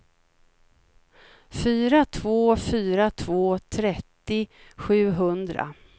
fyra två fyra två trettio sjuhundra